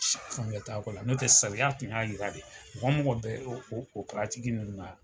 kɔni t'a ko la n'o tɛ sariya tun y'a jira de mɔgɔ mɔgɔ bɛ o nunnu na